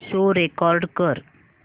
show record कर